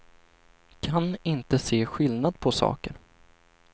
Kan inte se skillnad på saker.